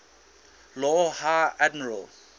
lord high admiral